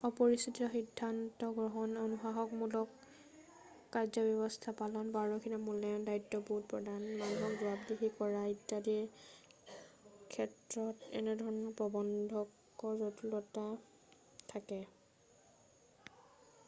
অপৰিচিত সিন্ধান্ত গ্ৰহণ অনুশাসনমূলক কাৰ্যব্যৱস্থা পালন পাৰদৰ্শিতাৰ মূল্যায়ন দায়িত্ববোধ প্ৰদান মানুহক জবাবদিহি কৰা ইত্যাদিৰ ক্ষেত্ৰত এনেধৰণৰ প্ৰবন্ধকৰ জটিলতা থাকে